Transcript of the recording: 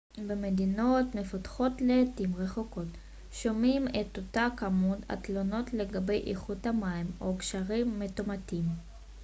במדינות מפותחות לעתים רחוקות שומעים את אותה כמות התלונות לגבי איכות המים או גשרים מתמוטטים